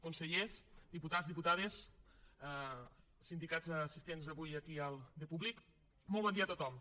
consellers diputats diputades sindicats assistents avui aquí de públic molt bon dia a tothom